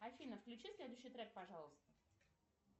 афина включи следующий трек пожалуйста